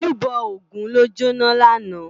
Ójúbò ógùn ló jóná làná